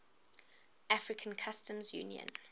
african customs union